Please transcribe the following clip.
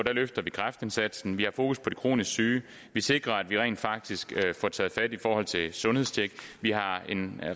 løfter vi kræftindsatsen vi har fokus på de kronisk syge vi sikrer at vi rent faktisk får taget fat i forhold til sundhedstjek vi har en